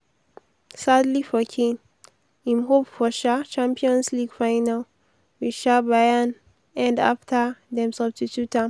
sadly for kane im hope for um champions league final wit um bayern end afta dem substitute am.